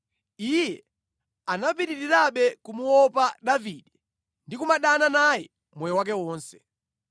iye anapitirirabe kumuopa Davide ndi kumadana naye moyo wake wonse.